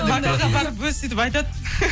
вокалға барып өзі сөйтіп айтады